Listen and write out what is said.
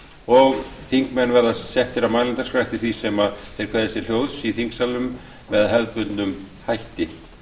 og þingmenn verða settir á mælendaskrá eftir því sem þeir kveðja sér hljóðs í þingsalnum með hefðbundnum hætti